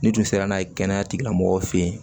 N'i dun sera n'a ye kɛnɛya tigilamɔgɔw fɛ yen